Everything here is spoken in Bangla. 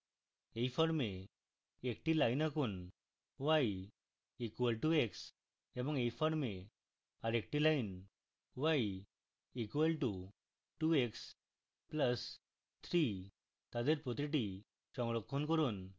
এই form একটি line আঁকুন y = x এবং এই form আরেকটি line y = 2x plus 3